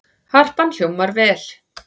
Harpan hljómar vel